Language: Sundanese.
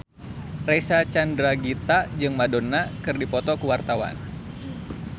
Reysa Chandragitta jeung Madonna keur dipoto ku wartawan